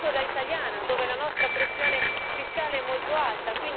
Lo dico da italiana, dove la pressione fiscale è molto alta